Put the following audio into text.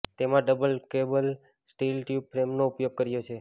તેમાં double cradle steel tube ફ્રેમનો ઉપયોગ કર્યો છે